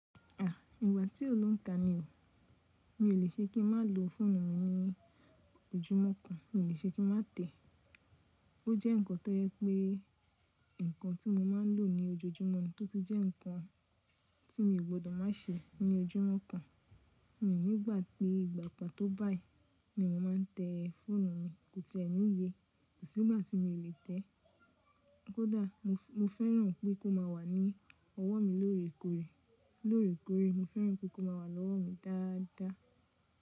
À, ìgbà tí ó lóùn ka ni o. Mi ò le ṣe kí n má lo fóònù mi ní ojúmọ́ kan, mi ò le ṣe kí n má tẹ̀. O jẹ́ nǹkan tó yẹ pé nǹkan tí mo má ń lò ní ojoojúmọ́ náà tótí jẹ́ nǹkan tí mi o gbọdọ̀ má se ní ojúmọ́ kan. Mí ní ìgbà pé ìgba pa tó báyí ni mo má ń tẹ fóònù mi, kò ti è níye, kò sí ìgbà tí mi ò lè tẹ́. Kódà mo fẹ́ràn pé kó má wà ní ọwọ́ mi lóòrèkóòrè, lóòrèkóòrè mo fẹ́ràn pé kó má wà lọ́wọ́ mi dáadáa.